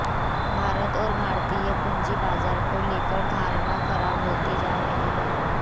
भारत और भारतीय पूंजी बाजार को लेकर धारणा खराब होती जा रही है